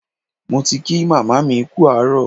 Mo ti kí màmá mi kú àárọ̀.